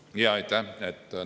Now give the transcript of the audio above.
Jaa, aitäh!